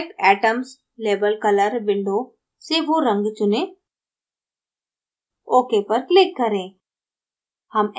select atoms label color window से वो रंग चुनें ok button पर click करें